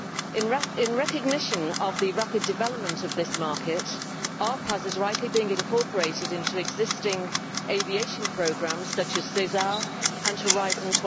In recognition of the rapid development of this market, RPAS are rightly being incorporated into existing aviation programmes such as Sesar and Horizon